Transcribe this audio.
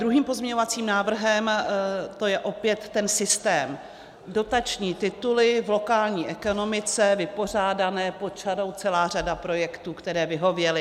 Druhým pozměňovacím návrhem, to je opět ten systém dotační tituly v lokální ekonomice, vypořádané pod čarou, celá řada projektů, které vyhověly.